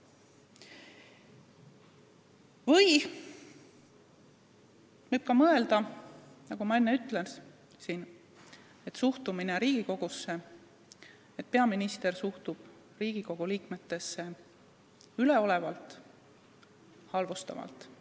Võib ka mõelda, nagu ma enne ütlesin, et peaminister suhtub Riigikogu liikmetesse üleolevalt, halvustavalt.